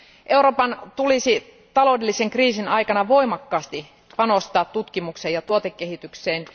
Euroopan tulisi taloudellisen kriisin aikana voimakkaasti panostaa tutkimukseen ja tuotekehitykseen.